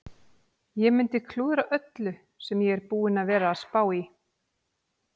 Ég mundi klúðra öllu sem ég er búinn að vera að spá í.